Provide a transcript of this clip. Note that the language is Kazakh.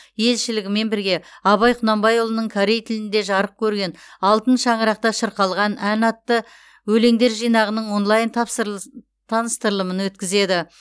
елшілігімен бірге абай құнанбайұлының корей тілінде жарық көрген алтын шаңырақта шырқалған ән атты өлеңдер жинағының онлайн таныстырылымын өткізеді